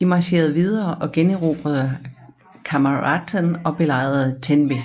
De marcherede videre og generobrede Carmarthen og belejrede Tenby